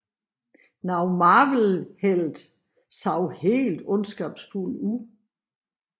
Nogle Marvel helte så helt ondskabsfulde ud